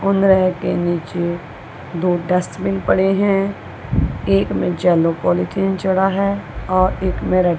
उनरेह के नीचे दो डस्टबिन पड़े हैं एक में येलो पॉलीथिन चढ़ा है और एक में रेड ।